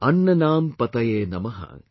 Annanam PatayeNamah